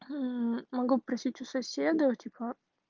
могу попросить у соседа типа